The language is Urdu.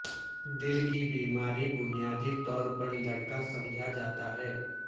دل کی بیماری بنیادی طور پر لڑکا سمجھا جاتا ہے